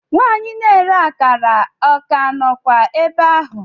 Nwanyị na-ere akara o ka nọkwa ebe ahụ?